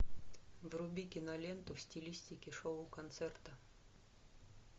вруби киноленту в стилистике шоу концерта